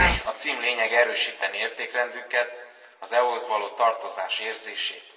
A cím lényege erősítené értékrendünket, az EU hoz való tartozás érzését.